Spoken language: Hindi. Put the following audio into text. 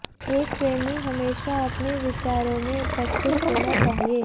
एक प्रेमी हमेशा अपने विचारों में उपस्थित होना चाहिए